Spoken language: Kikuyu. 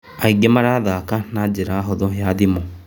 Aĩngĩ marathaka na njĩra hũthũ ya thĩmũ.